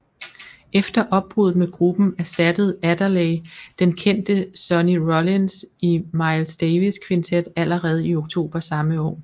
Efter opbruddet med gruppen erstattede Adderley den kendte Sonny Rollins i Miles Davis Quintet allerede i oktober samme år